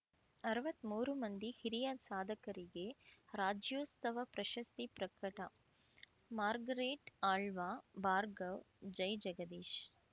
ಅರ್ವತ್ಮೂರು ಮಂದಿ ಹಿರಿಯ ಸಾಧಕರಿಗೆ ರಾಜ್ಯೋಸ್ತವ ಪ್ರಶಸ್ತಿ ಪ್ರಕಟ ಮಾರ್ಗರೆಟ್‌ ಆಳ್ವ ಭಾರ್ಗವ ಜೈಜಗದೀಶ್‌